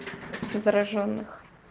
заражённых